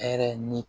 Hɛrɛ ni